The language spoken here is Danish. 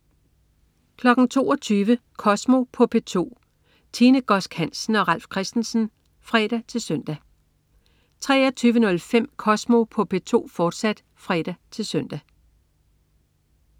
22.00 Kosmo på P2. Tine Godsk Hansen og Ralf Christensen (fre-søn) 23.05 Kosmo på P2, fortsat (fre-søn)